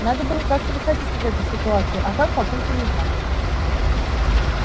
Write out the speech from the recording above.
надо было как-то выходить из этой ситуации а как папулька не знал